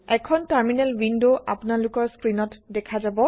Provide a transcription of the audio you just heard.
এখন terminal window আপোনালোকৰ স্ক্ৰিনত দেখা যাব